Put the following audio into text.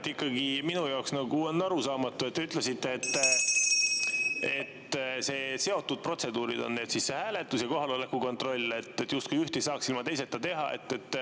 Jah, ikkagi minu jaoks on arusaamatu, et te ütlesite, et need on seotud protseduurid, hääletus ja kohaloleku kontroll, justkui üht ei saaks ilma teiseta teha.